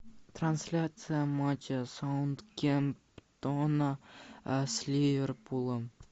трансляция матча саутгемптона с ливерпулем